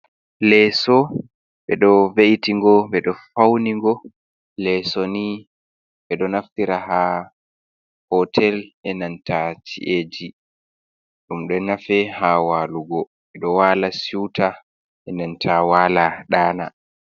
Leeso ɓe ɗo ve'iti ngo, ɓe ɗo faunigo. Leeso nii ɓe ɗo naftira haa hotel e nanta ci’eji, ɗum ɗo nafe haa walugo. Ɓe ɗo wala siuta e nanta wala ɗana.